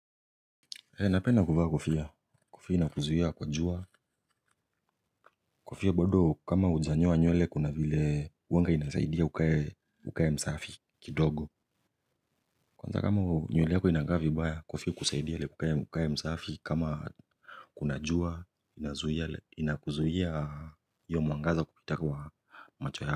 Napenda kuvaa kofia kofia inakuzuia kwa jua kufia bado kama ujanyoa nyuele kuna vile uwanga inasaidia ukae msafi kidogo. Kwanza kama nyuele yako inangavi baya kofia kusaidia ukae msafi kama kuna jua inakuzuhia yo muangaza kupita kwa macho yako.